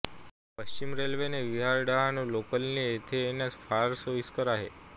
पश्चिम रेल्वेने विरार डहाणू लोकलने येथे येण्यास फार सोईस्कर आहे